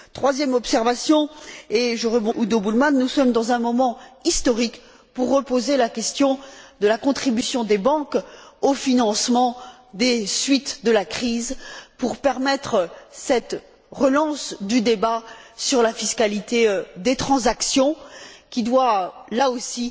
Troisième observation, et je rebondis sur ce qu'a dit Udo Bullmann, nous sommes dans un moment historique pour reposer la question de la contribution des banques au financement des suites de la crise pour permettre cette relance du débat sur la fiscalité des transactions, qui doit, là aussi,